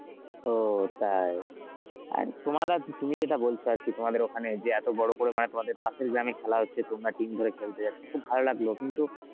ও তাই. আর তোমার আজ, তুমি যেটা বলছো আর কি তোমাদের ওখানে যে এত বড় করে মানে তোমাদের পাশের গ্রামেই খেলা হচ্ছে তোমরা team ধরে খেলতে যাচ্ছ, খুব ভালো লাগলো কিন্তু